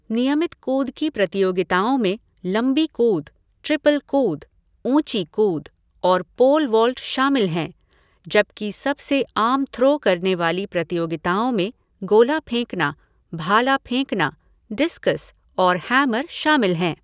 नियमित कूद की प्रतियोगिताओं में लंबी कूद, ट्रिपल कूद, ऊँची कूद और पोल वॉल्ट शामिल हैं, जबकि सबसे आम थ्रो करने वाली प्रतियोगिताओं में गोला फेंकना, भाला फेंकना, डिस्कस और हैमर शामिल हैं।